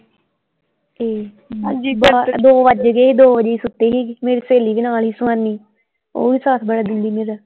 ਦੋ ਵੱਜ ਗਏ ਸੀ ਦੋ ਵਜੇ ਹੀ ਸੁੱਤੇ ਸੀ ਮੇਰੀ ਸਹੇਲੀ ਵੀ ਨਾਲ ਹੀ ਸੀ ਸੁਹਾਣੀ ਓਹ ਵੀ ਸਾਥ ਬੜਾ ਦਿੰਦੀ ਮੇਰਾ।